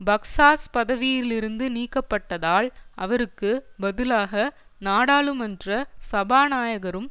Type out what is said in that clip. பக்ஸாஸ் பதவியிலிருந்து நீக்கப்பட்டதால் அவருக்கு பதிலாக நாடாளுமன்ற சபாநாயகரும்